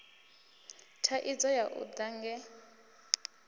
thaidzo ya u ḽa nge